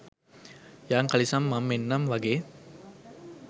යං කලිසම් මම් එන්නම් වගේ.